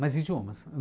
Mas idiomas.